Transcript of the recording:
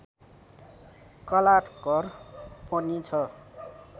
कलाघर पनि छ